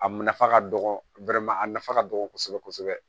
A nafa ka dɔgɔ a nafa ka dɔgɔ kosɛbɛ kosɛbɛ